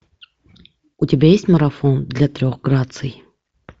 у тебя есть марафон для трех граций